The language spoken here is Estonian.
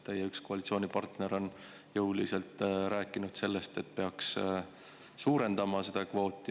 Teie üks koalitsioonipartner on jõuliselt rääkinud sellest, et peaks kvooti suurendama.